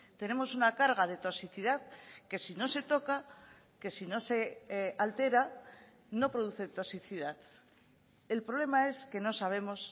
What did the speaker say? tenemos una carga de toxicidad que si no se toca que si no se altera no produce toxicidad el problema es que no sabemos